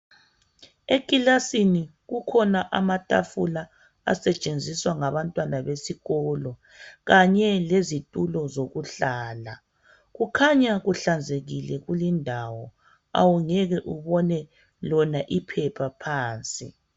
Ekilasini kukhona amatafula asetshenziswa ngabantwana besikolo kanye lezitulo zokuhlala kukhanya kuhlanzekile kulindawo awungeke ubone lona iphepha phansi.